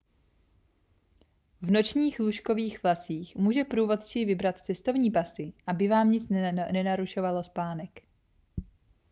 v nočních lůžkových vlacích může průvodčí vybrat cestovní pasy aby vám nic nenarušovalo spánek